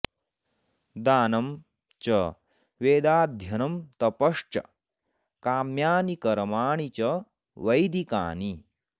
दानं च वेदाध्ययनं तपश्च काम्यानि कर्माणि च वैदिकानि